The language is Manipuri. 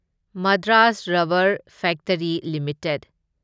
Madras rubber factory limited